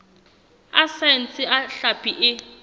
a saense a hlapi e